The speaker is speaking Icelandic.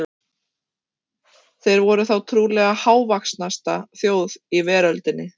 Þeir voru þá trúlega hávaxnasta þjóð í veröldinni.